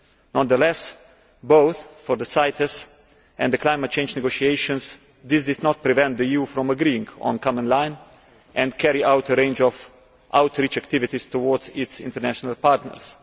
Nonetheless, both for the CITES and the climate change negotiations, this did not prevent the EU from agreeing on a common line and carrying out a range of outreach activities towards its international partners.